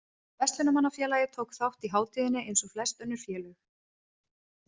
Verslunarmannafélagið tók þátt í hátíðinni eins og flest önnur félög.